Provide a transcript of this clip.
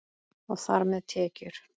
Og þar með tekjur.